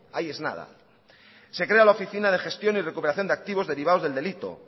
ahí es nada se crea la oficina de gestión y recuperación de activos derivados del delito